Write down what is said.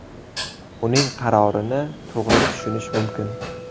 Uning qarorini to‘g‘ri tushunish mumkin.